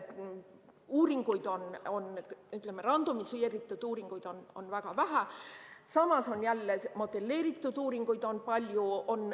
Uuringuid, randomiseeritud uuringuid on väga vähe, samas jälle modelleeritud uuringuid on palju.